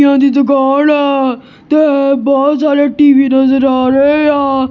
ਇਹ ਉਹਦੀ ਦੀ ਦੁਕਾਨ ਆ ਤੇ ਹੋਰ ਬਹੁਤ ਸਾਰੇ ਟੀ_ਵੀ ਨਜ਼ਰ ਆ ਰਹੇ ਆ।